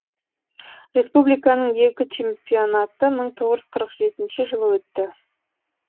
республиканың екі чемпионаты мың тоғыз жүз қырық жетінші жылы өтті